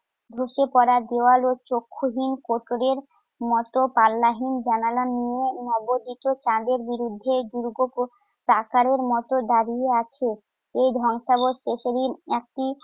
ধ্বসে পড়া দেয়াল ও চক্ষুহীন কোটরের মত পাল্লাহীন জানালা নিয়ে নবোদিত চাঁদের বিরুদ্ধে দার্ঘ মত দাঁড়িয়ে আছে। এই ধবংসাবশেষেরই একটি